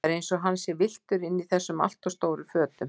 Það er eins og hann sé villtur innan í þessum alltof stóru fötum.